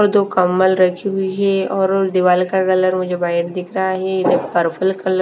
और दो कंम्मल रखी हुई हे और और दिवाल का कलर मुझे व्हाइट दिख रहा हे जो पर्पल कल --